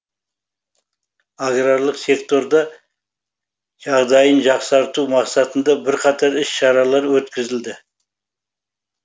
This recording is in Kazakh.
аграрлық секторда жағдайын жақсарту мақсатында бірқатар іс шаралар өткізілді